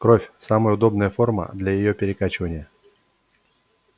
кровь самая удобная форма для её перекачивания